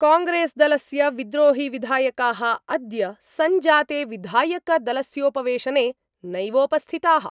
कांग्रेसदलस्य विद्रोहिविधायका: अद्य संजाते विधायकदलस्योपवेशने नैवोपस्थिता:।